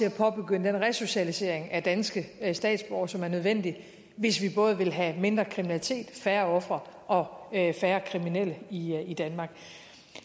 at påbegynde den resocialisering af danske statsborgere som er nødvendig hvis vi både vil have mindre kriminalitet færre ofre og færre kriminelle i i danmark